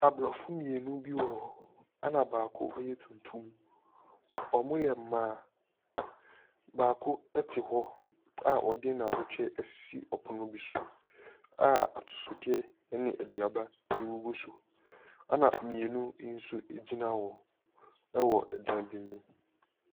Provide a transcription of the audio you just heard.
Aborɔfo mmienu bi wɔ hɔ, ɛna baako yɛ tuntum. Wɔyɛ mmaa. Baako te hɔ a ɔde n'abatwɛ asi ɔpono bo so a atosodeɛ ne aduaba gugu so, ɛna mmienu nso gyina hɔ wɔ dan bi mu.